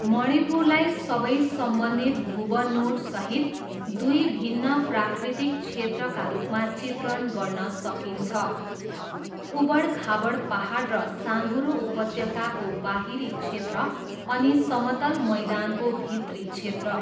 मणिपुरलाई सबै सम्बन्धित भूबनोटसहित दुई भिन्न प्राकृतिक क्षेत्रका रूपमा चित्रण गर्न सकिन्छ, उबडखाबड पाहाड र साँघुरो उपत्यकाको बाहिरी क्षेत्र अनि समतल मैदानको भित्री क्षेत्र।